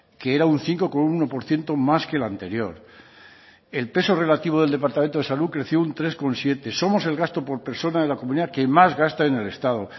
que era un cinco coma uno por ciento más que el anterior el peso relativo del departamento de salud creció un tres coma siete somos el gasto por persona en la comunidad que más gasta en el estado